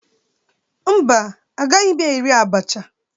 Mba, agaghị m eri abacha.